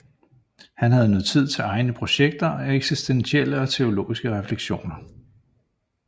Han havde nu tid til egne projekter og eksistentielle og teologiske refleksioner